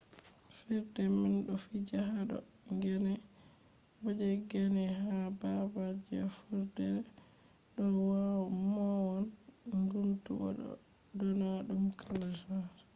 fijirde man do fija hado gane bo je gane ha babal je vurdere do mown guntu bo do dona dum kala gene